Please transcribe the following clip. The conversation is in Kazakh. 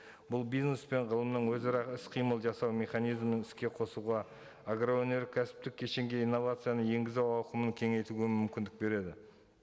бұл бизнес пен ғылымның өзара іс қимыл жасау механизмін іске қосуға агроөнеркәсіптік кешенге инновацияны енгізу ауқымын кеңейтуге мүмкіндік береді